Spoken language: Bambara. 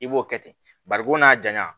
I b'o kɛ ten barikon n'a janya